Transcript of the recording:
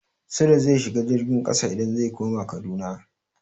Sule zai shiga jirgin ƙasa idan zai koma Kaduna.